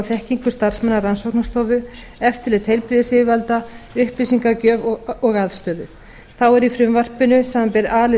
þekkingu starfsmanna rannsóknastofu eftirlit heilbrigðisyfirvalda upplýsingagjöf og aðstöðu þá er í frumvarpinu samanber a lið